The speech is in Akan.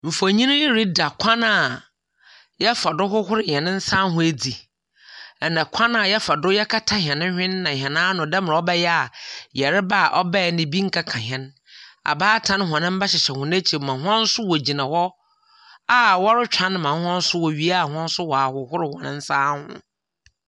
Mfonyin yi reda kwan a yɛfa do hohor hɛn nsaho edzi, na kwan a yɛfa do kata hɛn hwen na hɛn ano dɛ mbrɛ ɔbɛyɛ a yarba ɔbae no bi nnkeka hɛn. abaatan hɔn hyehyɛ hɔn ekyir ma hɔn so wogyiana a wɔrotweɔn ma hɔn so wowia a hɔn so wɔahohor hɔn nsaho.